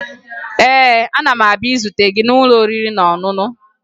Ee, ana m abịa izute gị n'ụlọ oriri na ọṅụṅụ